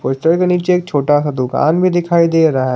Poster के नीचे एक छोटा सा दुकान भी दिखाई दे रहा है।